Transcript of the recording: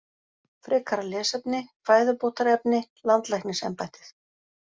Frekara lesefni: Fæðubótarefni- Landlæknisembættið.